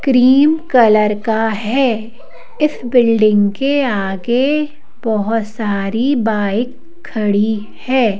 Cream colour का है इस बिल्डिंग के आगे बहुत सारी बाइक खड़ी है।